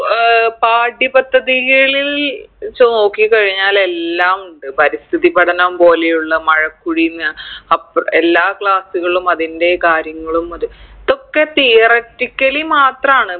ഏർ പാഠ്യ പദ്ധതികളിൽ ച്ചു നോക്കി കഴിഞ്ഞാൽ എല്ലാമുണ്ട് പരിസ്ഥിതി പഠനം പോലെയുള്ള മഴക്കുഴിന്ന് അപ്പ് എല്ലാ class കളിലും അതിൻറെ കാര്യങ്ങളും അത് ഇതൊക്കെ theoratically മാത്രാണ്